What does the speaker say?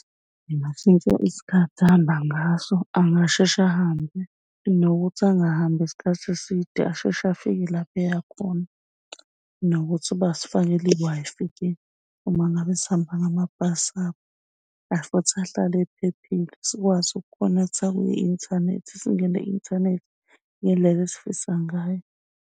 Engashintsha isikhathi ahamba ngaso, angasheshe ahambe nokuthi angahambi isikhathi eside asheshe afike lapha eyakhona nokuthi basifakele i-Wi-Fi uma ngabe sihamba ngamabhasi abo futhi ahlale ephephile. Sikwazi ukhonektha kwi-inthanethi singene ku-inthanethi ngendlela esifisa ngayo.